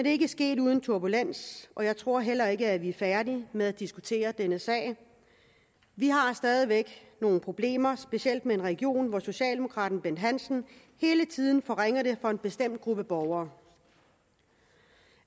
er ikke sket uden turbulens og jeg tror heller ikke vi er færdige med at diskutere denne sag vi har stadig væk nogle problemer specielt med en region hvor socialdemokraten bent hansen hele tiden forringer det for en bestemt gruppe borgere